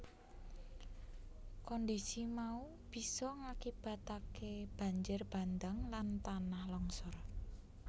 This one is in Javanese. Kondhisi mau bisa ngakibataké banjir bandhang lan tanah longsor